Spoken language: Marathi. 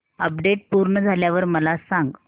अपडेट पूर्ण झाल्यावर मला सांग